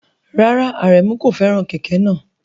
Rárá, Aremu kò fẹ́ràn kẹ̀kẹ́ náà.